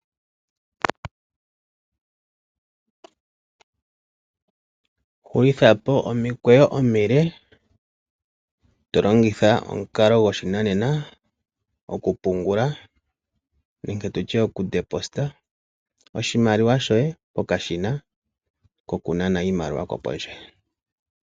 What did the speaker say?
Hulithapo omikweyo omile to longitha omukalo goshinanena okupungula nenge tutye okutulako shoye kokashina kokunana iimaliwa kopondje.